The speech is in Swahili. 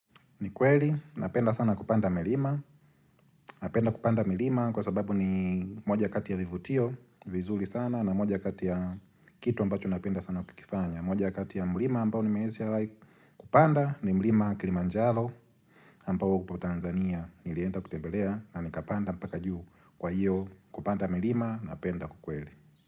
Ni kweli, napenda sana kupanda milima Napenda kupanda milima kwa sababu ni moja kati ya vivutio vizuri sana na moja kati ya kitu ambacho napenda sana kukifanya moja kati ya mlima ambao nimeshawahi Kupanda ni mlima Kilimanjaro ambao upo Tanzania Nilienda kutembelea na nikapanda mpaka juu kwa hiyo Kupanda milima, napenda ukweli.